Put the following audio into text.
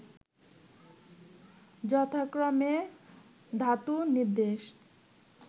যথাক্রমে ধাতুনির্দেশ